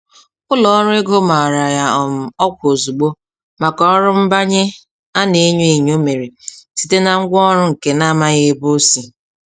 Ụlọọrụ ego mara ya um ọkwa ozugbo maka ọrụ nbanye a na-enyo enyo mere site na ngwaọrụ nke n'amaghị ebe osi.